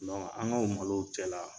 An ka o malow cɛ la.